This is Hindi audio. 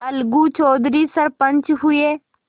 अलगू चौधरी सरपंच हुए